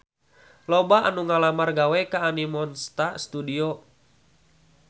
Loba anu ngalamar gawe ka Animonsta Studio